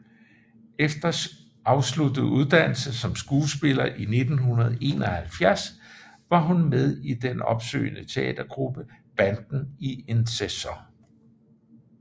Efter afsluttet uddannelse som skuespillerinde i 1971 var hun med i den opsøgende teatergruppe Banden i en sæson